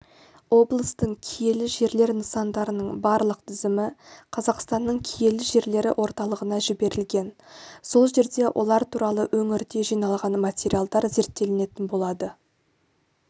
облыстың киелі жерлер нысандарының барлық тізімі қазақстанның киелі жерлері орталығына жіберілген сол жерде олар туралы өңірде жиналған материалдар зерттелетін болады